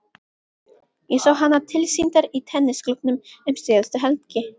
Ég sá hana tilsýndar í tennisklúbbnum um síðustu helgi.